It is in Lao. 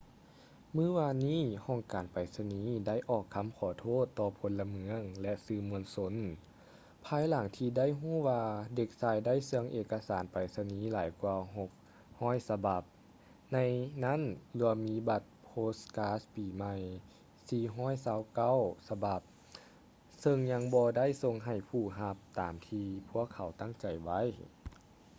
ມື້ວານນີ້ ຫ້ອງການໄປສະນີໄດ້ອອກຄຳຂໍໂທດຕໍ່ພົນລະເມືອງ ແລະ ສື່ມວນຊົນ ພາຍຫຼັງທີ່ໄດ້ຮູ້ວ່າເດັກຊາຍໄດ້ເຊື່ອງເອກະສານໄປສະນີຫຼາຍກວ່າ 600 ສະບັບ ໃນນັ້ນລວມມີບັດໂພສກາສປີໄໝ່ 429 ສະບັບ ເຊິ່ງຍັງບໍ່ໄດ້ສົ່ງໃຫ້ຜູ້ຮັບຕາມທີ່ພວກເຂົາຕັ້ງໃຈໄວ້